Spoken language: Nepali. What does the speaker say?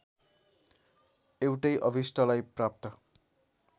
एउटै अभिष्टलाई प्राप्त